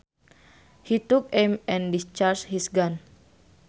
He took aim and discharged his gun